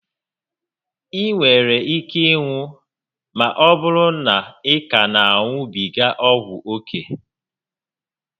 I nwere ike ịnwụ ma ọbụrụ na ị ka na a ṅubiga ọgwụ ókè